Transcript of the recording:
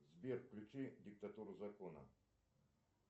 сбер включи диктатуру закона